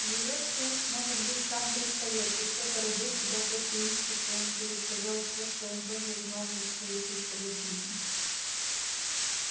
живёшь ты может быть сам триста лет и кто породил тебя тот в яичке своём пересказал всё что он тоже узнал за свои триста лет жизни